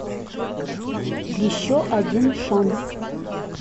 еще один шанс